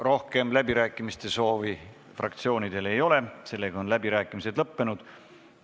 Rohkem läbirääkimiste soovi fraktsioonidel ei ole, seega on läbirääkimised lõppenud.